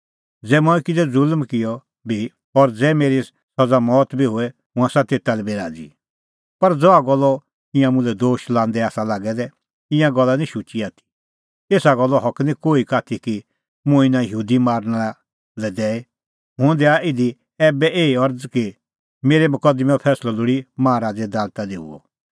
ज़ै मंऐं किज़ै ज़ुल्म किअ बी और ज़ै मेरी सज़ा मौत बी होए हुंह आसा तेता लै बी राज़ी पर ज़हा गल्लो ईंयां मुल्है दोशा लांदै आसा लागै दै ईंयां गल्ला निं शुची आथी एसा गल्लो हक निं कोही का आथी कि मुंह इना यहूदी मारना लै दैए हुंह दैआ इधी ऐबै एही अरज़ कि मेरै मकदमैंओ फैंसलअ लोल़ी माहा राज़े दालता दी हुअ